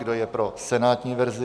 Kdo je pro senátní verzi?